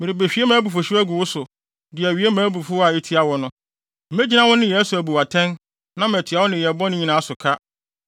Merebehwie mʼabufuwhyew agu wo so de awie mʼabufuw a etia wo no. Megyina wo nneyɛe so abu wo atɛn, na matua wo nneyɛe bɔne nyinaa so ka.